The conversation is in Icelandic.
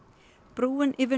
brúin yfir